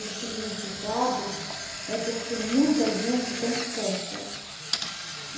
O significado é porque muita gente tem fé, sabe?